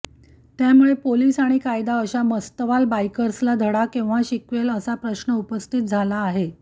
त्यामुळे पोलीस आणि कायदा अशा मस्तवाल बाईकर्सला धडा केव्हा शिकवेल असा प्रश्न उपस्थित झाला आहे